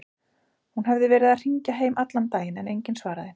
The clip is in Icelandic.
Hún hefði verið að hringja heim allan daginn en enginn svarað.